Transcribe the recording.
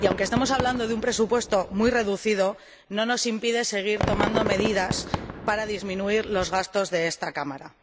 y, aunque estemos hablando de un presupuesto muy reducido, ello no nos impide seguir tomando medidas para disminuir los gastos de esta Cámara.